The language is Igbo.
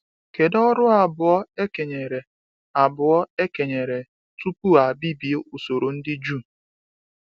Kedu ọrụ abụọ e kenyere abụọ e kenyere tupu a bibie usoro ndị Juu?